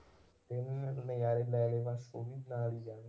ਨਜ਼ਾਰ ਲੈ ਲਏ ਬਸ ਉਹ ਵੀ ਨਾਲ ਹੀ ਜਾਣਗੇ।